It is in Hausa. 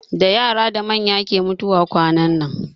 Da yara da manya ke mutuwa kwanan nan.